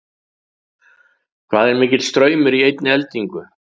Hvað er mikill straumur í einni eldingu?